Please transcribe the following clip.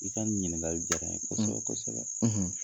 I ka nin ɲininkali diyara n ye kosɛbɛ kosɛbɛ.